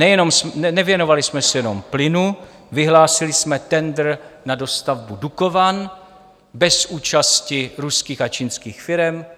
Nevěnovali jsme se jenom plynu, vyhlásili jsme tendr na dostavbu Dukovan bez účasti ruských a čínských firem.